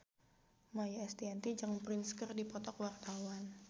Maia Estianty jeung Prince keur dipoto ku wartawan